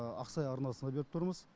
ақсай арнасына беріп тұрмыз